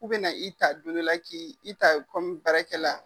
K'u be na i ta don dɔ la k'i i ta baarakɛla.